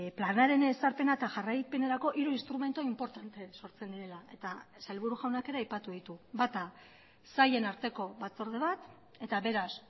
planaren ezarpena eta jarraipenerako hiru instrumentu inportante sortzen direla eta sailburu jaunak ere aipatu ditu bata sailen arteko batzorde bat eta beraz